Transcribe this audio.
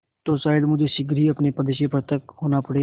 तो शायद मुझे शीघ्र ही अपने पद से पृथक होना पड़े